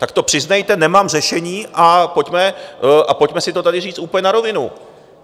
Tak to přiznejte: Nemám řešení, a pojďme si to tady říct úplně na rovinu.